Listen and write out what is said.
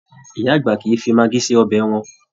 Ìyá àgbà kìí fí magí sí ọbẹ wọn